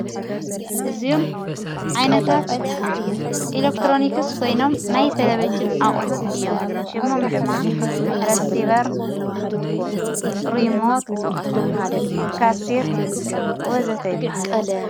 እዝኡም ዓይነታት ኢለክትሮኒክስ ኮይኖም ናይ ተለበጅን ኣቝሑት እዮም ሽሞም ዶማ ረሲበር ርሞት ካስት ወዘተይበሃሎ::